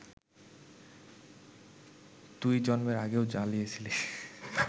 তুই জন্মের আগেও জ্বালিয়েছিস